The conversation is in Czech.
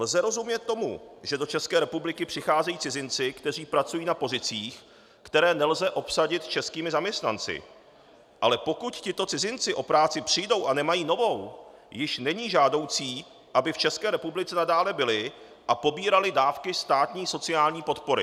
Lze rozumět tomu, že do České republiky přicházejí cizinci, kteří pracují na pozicích, které nelze obsadit českými zaměstnanci, ale pokud tito cizinci o práci přijdou a nemají jinou, již není žádoucí, aby v České republice nadále byli a pobírali dávky státní sociální podpory.